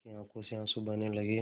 उसकी आँखों से आँसू बहने लगे